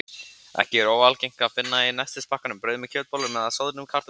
Ekki er óalgengt að finna í nestispakkanum brauð með kjötbollum eða soðnum kartöflusneiðum.